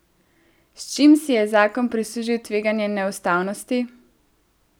S čim si je zakon prislužil tveganje neustavnosti?